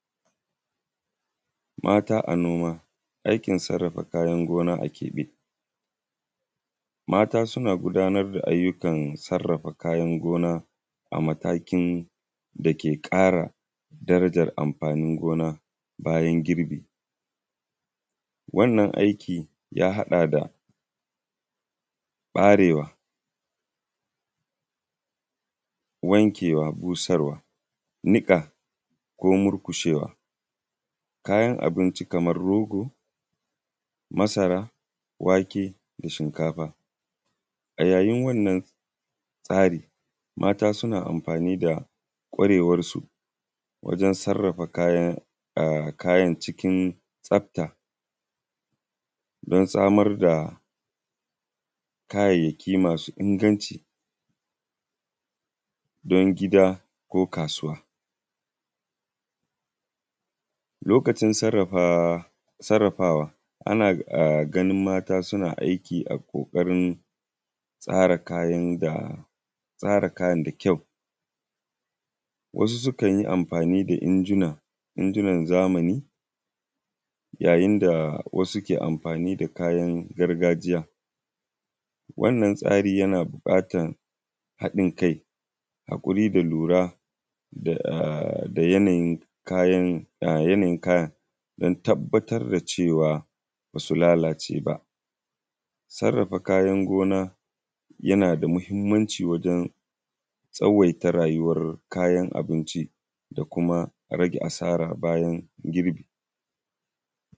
Mata a noma, aikin sarrafa kayan gona akeɓe. Mata suna gudanar da ayyukan gona a matakin dake ƙara darajan amfanin gona bayan girbi, wannan aiki ya haɗa da ɓarewa, wankewa, busarwa, niƙa ko murkushewa kayan abinci kamar rogo, masara, wake, da shinkafa. A yayin wannan tsari mata suna amfani da kwarewansu wajen sarrafa kayan kayan cikin tsafta don samar da kayayyaki masu inganci, don gida ko kasuwa lokacin sarrafa, sarrafawa a na ganin mata suna aiki a ƙoƙarin tsara kayan da tsara kayan da kyau wasu sukan yi amfani da injuna, injunan zamani yayin za wasu ke amfani da kayan gargajiyan. Wannan tsari yana buƙatan haɗin kai a wuri da lura da yanayin kayan da yanayin kayan don tabbatar da cewa ba su lalace ba, sarrafa kayan gona yana da mahinmanci wajen tsawaita rayuwan sarrafa kayan abinci da kuma rage asara bayan girki.